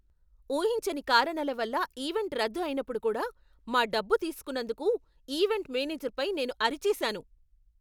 ఊహించని కారణాలవల్ల ఈవెంట్ రద్దు అయినప్పుడు కూడా మా డబ్బు తీసుకున్నందుకు ఈవెంట్ మేనేజర్పై నేను అరిచేసాను.